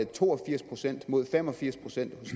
to og firs procent mod fem og firs procent